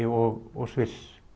og Sviss